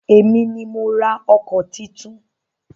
Èmi ni mo ra ọkọ̀ titun.